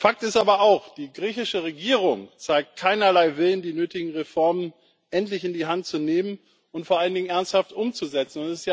Fakt ist aber auch Die griechische Regierung zeigt keinerlei Willen, die nötigen Reformen endlich in die Hand zu nehmen und vor allen Dingen ernsthaft umzusetzen.